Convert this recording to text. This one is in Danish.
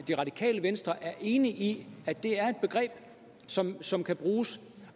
det radikale venstre enig i at det er et begreb som som kan bruges